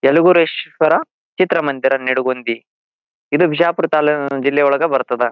ಎಲವೂರೇಶ್ವರ ಚಿತ್ರ ಮಂದಿರ ನೆಡುಗೊಂಡಿ ಇದು ಬಿಜಾಪುರ ಜಿಲ್ಲೆ ಒಳಗ ಬರ್ತದ.